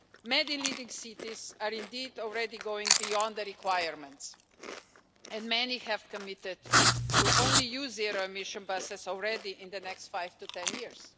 Many leading cities are indeed already going beyond the requirements and many have committed to using only zero emission buses already in the next five to ten years.